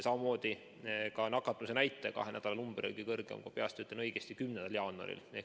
Samamoodi nakatumisnäitaja kahe nädala number oli kõige kõrgem, kui peast õigesti ütlen, 10. jaanuaril.